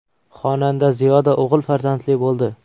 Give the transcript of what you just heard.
Xonanda Ziyoda o‘g‘il farzandli bo‘ldi.